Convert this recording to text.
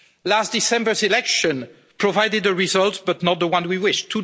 Last December's election provided a result, but not the one we wished.